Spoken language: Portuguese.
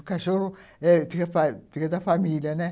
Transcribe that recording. O cachorro é fica da família, né?